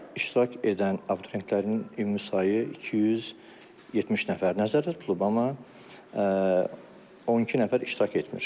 İştirak edən abituriyentlərin ümumi sayı 270 nəfər nəzərdə tutulub, amma 12 nəfər iştirak etmir.